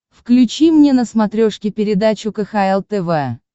включи мне на смотрешке передачу кхл тв